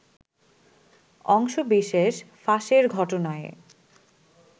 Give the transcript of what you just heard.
অংশবিশেষ ফাঁসের ঘটনায়